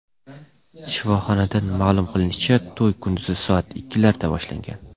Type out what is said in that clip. Shifoxonadan ma’lum qilishlaricha, to‘y kunduzi soat ikkilarda boshlangan.